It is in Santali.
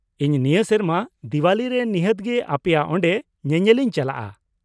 ᱤᱧ ᱱᱤᱭᱟᱹ ᱥᱮᱨᱢᱟ ᱫᱤᱣᱟᱞᱤ ᱨᱮ ᱱᱤᱦᱟᱹᱛ ᱜᱮ ᱟᱯᱮᱭᱟᱜ ᱚᱸᱰᱮ ᱧᱮᱧᱮᱞ ᱤᱧ ᱪᱟᱞᱟᱜᱼᱟ ᱾